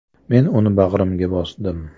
Men uni bag‘rimga bosdim.